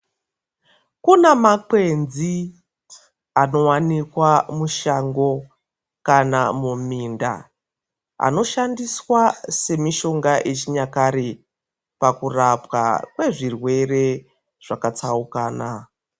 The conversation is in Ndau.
Kuna makwenzi anowanikwa mushango kana muminda anoshandiswa semishonga yechinyakare pakurapwa kwezvirwere zvakatsaukana.